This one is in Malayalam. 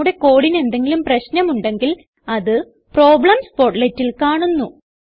നമ്മുടെ കോഡിന് എന്തെങ്കിലും പ്രശനം ഉണ്ടെങ്കിൽ അത് പ്രോബ്ലെംസ് portletൽ കാണുന്നു